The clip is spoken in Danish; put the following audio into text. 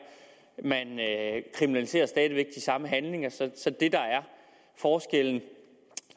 man kriminaliserer stadig væk de samme handlinger så så det der er forskellen